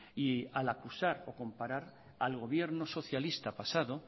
y al acusar o comparar al gobierno socialista pasado